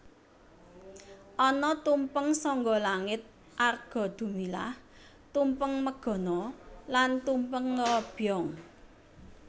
Ana tumpeng sangga langit Arga Dumilah Tumpeng Megono lan Tumpeng Robyong